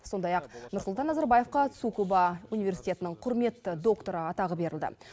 сондай ақ нұрсұлтан назарбаевқа цукуба университетінің құрметті докторы атағы берілді